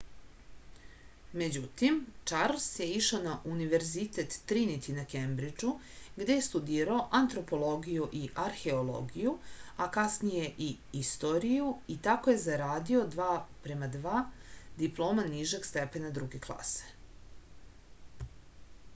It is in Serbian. међутим чарлс је ишао на универзитет тринити на кембриџу где је студирао антропологију и археологију а касније и историју и тако је зарадио 2:2 диплома нижег степена друге класе